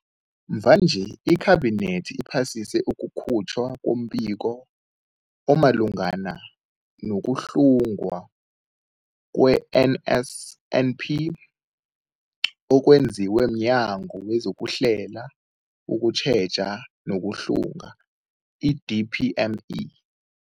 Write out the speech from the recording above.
Mvanje, iKhabinethi iphasise ukukhutjhwa kombiko omalungana nokuhlungwa kwe-NSNP okwenziwe mNyango wezokuHlela, ukuTjheja nokuHlung, i-DPME.